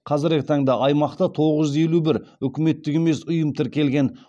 қазіргі таңда аймақта тоғыз жүз елу бір үкіметтік емес ұйым тіркелген